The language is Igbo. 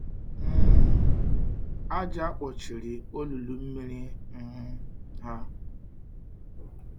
um Àjà kpochiri olulu mmiri um ha.